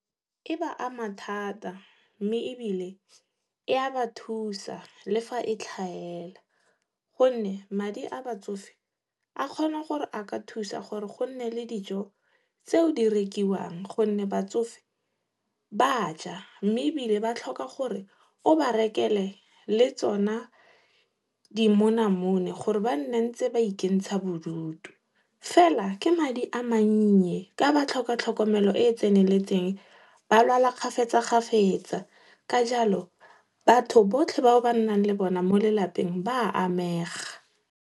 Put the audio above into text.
E ba ama thata, mme ebile, e a ba thusa le fa e tlhaela. Gonne, madi a batsofe a kgona gore a ka thusa gore gonne le dijo tseo di rekiwang gonne batsofe ba ja mme ebile ba tlhoka gore o ba rekele le tsona dimonamone gore ba nne ba ntse ba ikentsha bodutu. Fela ke madi a mannye ka ba tlhoka tlhokomelo e e tseneletseng. Ba lwala kgafetsa-kgafetsa. Ka jalo, batho botlhe bao ba nnang le bona mo lelapeng ba a amega.